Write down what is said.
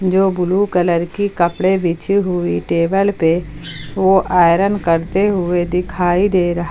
एव blue colour की कपड़े बिछी हुई टेबल पे वो आयरन करते हुए दिखाई दे रहा--